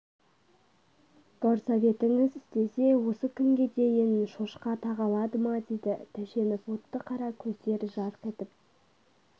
горсоветіңіз істесе осы күнге дейін шошқа тағалады ма деді тәшенов отты қара көздер жарқ етіп